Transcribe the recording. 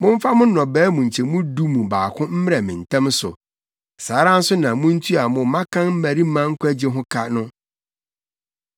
“Momfa mo nnɔbae mu nkyɛmu du mu baako mmrɛ me ntɛm so. “Saa ara nso na muntua mo mmakan mmarima nkwagye ho ka no.